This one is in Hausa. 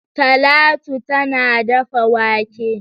Talatu tana dafa wake.